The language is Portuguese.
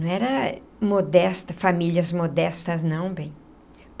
Não eram modesta, famílias modestas, não, bem.